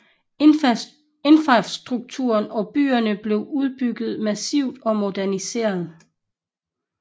Infrastrukturen og byerne blev udbygget massivt og moderniseret